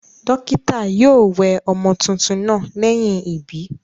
Dókítà naa yio we ọmọ tuntun naa léyìn ìbí